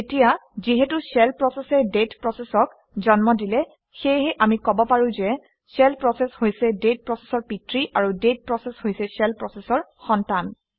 এতিয়া যিহেতু শ্বেল প্ৰচেচে ডেট প্ৰচেচক জন্ম দিলে সেয়েহে আমি কব পাৰোঁ যে শ্বেল প্ৰচেচ হৈছে ডেট প্ৰচেচৰ পিতৃ আৰু ডেট প্ৰচেচ হৈছে শ্বেল প্ৰচেচৰ সন্তান